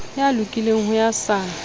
ya lokileng ho ya sa